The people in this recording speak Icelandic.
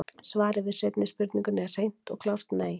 Svarið við seinni spurningunni er hreint og klárt nei!